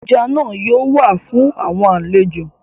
Eja naa yoo wa fun awọn alejo